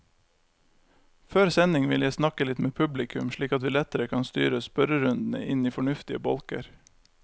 Før sending vil jeg snakke litt med publikum, slik at vi lettere kan styre spørrerundene inn i fornuftige bolker.